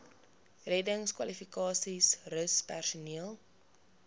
reddingskwalifikasies rus personeel